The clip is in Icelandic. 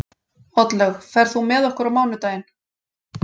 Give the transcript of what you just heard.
Oddlaug, ferð þú með okkur á mánudaginn?